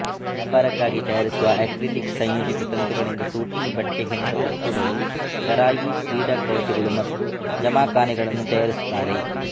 ವ್ಯಾಪಾರಕ್ಕಾಗಿ ತಯಾರಿಸುವ ಅಕ್ರಿಲಿಕ್ ಸಂಯೋಜಿತ ತಂತುಗಳಿಂದ ಸೂಟಿಂಗ್ ಬಟ್ಟೆ ಹೆಣೆದ ಉಡುಪುಗಳು ಷರಾಯಿ ಕ್ರೀಡಾಕವಚಗಳು ಮತ್ತು ಜಮಖಾನೆಗಳನ್ನು ತಯಾರಿಸುತ್ತಾರೆ